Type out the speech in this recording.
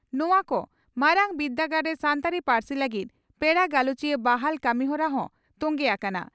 ᱱᱚᱣᱟ ᱠᱚ ᱢᱟᱨᱟᱝ ᱵᱤᱨᱫᱟᱹᱜᱟᱲ ᱨᱮ ᱥᱟᱱᱛᱟᱲᱤ ᱯᱟᱹᱨᱥᱤ ᱞᱟᱹᱜᱤᱫ ᱯᱮᱲᱟ ᱜᱟᱞᱚᱪᱤᱭᱟᱹ ᱵᱟᱦᱟᱞ ᱠᱟᱹᱢᱤᱦᱚᱨᱟ ᱦᱚᱸ ᱛᱚᱝᱜᱮ ᱟᱠᱟᱱᱟ ᱾